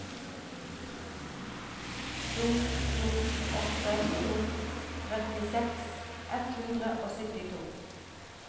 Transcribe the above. to to åtte to trettiseks ett hundre og syttito